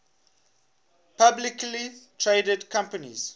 publicly traded companies